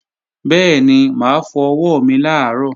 Bẹ́ẹ̀ni, mà á fọ ọwọ́ mi làárọ̀